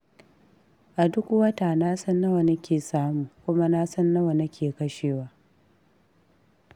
A duk wata na san nawa nake samu, kuma na san nawa nake kashewa.